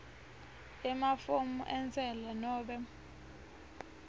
emafomu entsela nobe